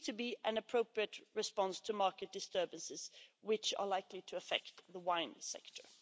This seems to be an appropriate response to market disturbances which are likely to affect the wine sector.